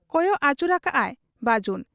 ᱠᱚᱭᱚᱜ ᱟᱹᱪᱩᱨᱟᱠᱟᱜ ᱟᱭ ᱵᱟᱹᱡᱩᱱ ᱾